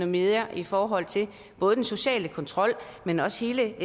mere i forhold til både den sociale kontrol men også hele